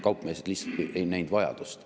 Kaupmehed lihtsalt ei näinud vajadust.